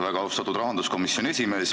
Väga austatud rahanduskomisjoni esimees!